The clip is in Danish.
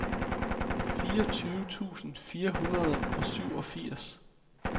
fireogtyve tusind fire hundrede og syvogfirs